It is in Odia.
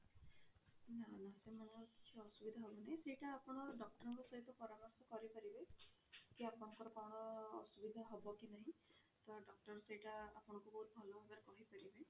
ନା ନା ସେମାନଙ୍କ କିଛି ଅସୁବିଧା ହବନି ସେଇଟା ଆପଣ doctor ଙ୍କ ସହିତ ପରାମର୍ଶ କରି ପାରିବେ କି ଆପଣଙ୍କର କଣ ଅସୁବିଧା ହବ କି ନାହିଁ ତ doctor ସେଇଟା ଆପଣଙ୍କୁ ବହୁତ ଭଲ ଭାବରେ କହି ପାରିବେ।